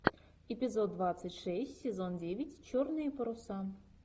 эпизод двадцать шесть сезон девять черные паруса